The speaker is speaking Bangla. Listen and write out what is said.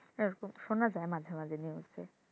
এরকম শোনা যায় মাঝে মাঝে news এ,